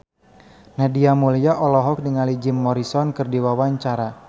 Nadia Mulya olohok ningali Jim Morrison keur diwawancara